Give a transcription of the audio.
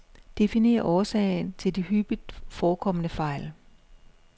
Definer årsagen til de hyppigt forekommende fejl.